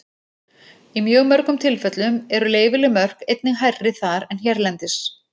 Í mjög mörgum tilfellum eru leyfileg mörk einnig hærri þar en hérlendis.